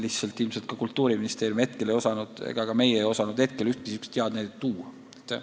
Lihtsalt ilmselt Kultuuriministeerium ei osanud praegu ühtegi niisugust head näidet tuua ja ei oska ka mina.